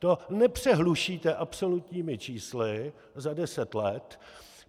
To nepřehlušíte absolutními čísly za deset let.